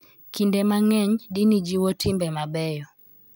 Kinde mang�eny, dini jiwo timbe mabeyo